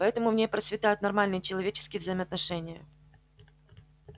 поэтому в ней процветают нормальные человеческие взаимоотношения